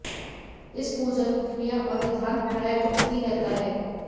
इस पूजा की क्रिया और विधान प्रायः गुप्त ही रहता है